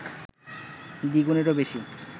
দ্বিগুণেরও বেশি